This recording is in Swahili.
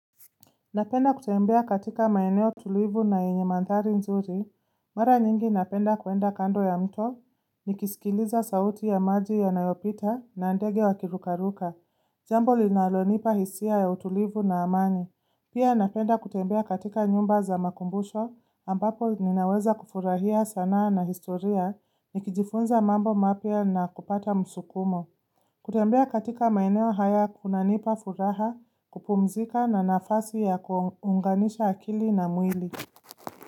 Napenda kutembea katika maeneo tulivu na yenye mandhari nzuri, mara nyingi napenda kwenda kando ya mto, nikisikiliza sauti ya maji yanayopita na ndege wa kirukaruka, jambo linalonipa hisia ya utulivu na amani, pia napenda kutembea katika nyumba za makumbusho ambapo ninaweza kufurahia sanaa na historia nikijifunza mambo mapia na kupata msukumo. Kutembea katika maeneo haya kunanipa furaha kupumzika na nafasi ya kuunganisha akili na mwili.